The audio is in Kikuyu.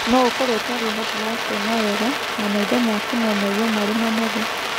No ũkorũo ũtarĩ ũhoti wa kuona wega, na maitho maku no maigue marĩ manogu.